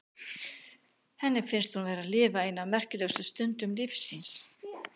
Henni finnst hún vera að lifa eina af merkilegustu stundum lífs síns.